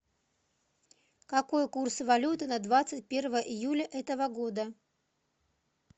какой курс валюты на двадцать первое июля этого года